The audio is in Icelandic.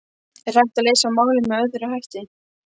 Er hægt að leysa málin með öðrum hætti?